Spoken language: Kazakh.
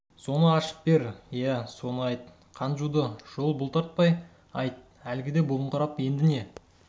соны ашып бер иә соны айт қан жуды жол бұл бұлтартпай айт әлгіде бұғыңқырап енді не